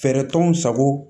Fɛɛrɛ t'anw sago